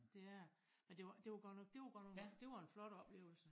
Det er det men det var det var godt det var godt nok dét var en flot oplevelse